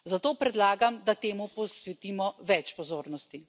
Zato predlagam, da temu posvetimo več pozornosti.